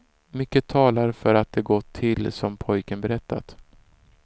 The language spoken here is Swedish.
Mycket talar för att det gått till som pojken berättat.